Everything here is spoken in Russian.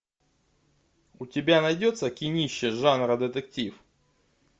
у тебя найдется кинище жанра детектив